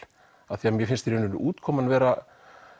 af því mér finnst útkoman vera